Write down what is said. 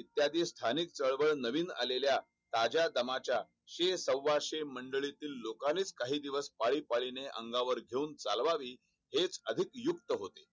इत्यादी स्थानिक चळवळ नवीन आल्याला ताज्या दमाच्या शेर सव्वा मंडळीतील लोकांनीच काही दिवस पाळीपाळीने अंगावर घेऊन चालवावी हेच कधीच युक्त होते